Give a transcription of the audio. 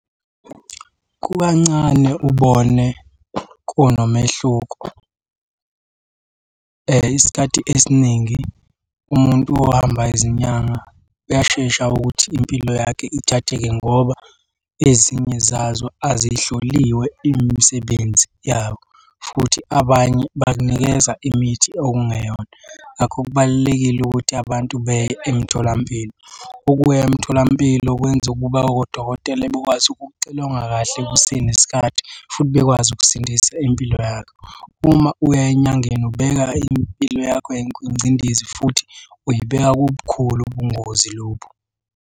Kukancane ubone kunomehluko. Isikhathi esiningi umuntu ohamba izinyanga uyashesha ukuthi impilo yakhe ithatheke ngoba ezinye zazo azihloliwe imisebenzi yabo, futhi abanye bakunikeza imithi okungeyona. Ngakho kubalulekile ukuthi abantu beye emtholampilo. Ukuya emtholampilo kwenza ukuba odokotela bekwazi ukukuxilonga kahle kusenesikhathi futhi bekwazi ukusindisa impilo yakho. Uma uya enyangeni ubeka impilo yakho kwingcindezi futhi uyibeka kobukhulu ubungozi lobu.